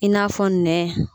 I n'a fɔ nɛ.